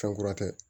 Fɛn kura tɛ